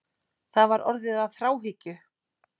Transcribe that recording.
Það var orðið að þráhyggju.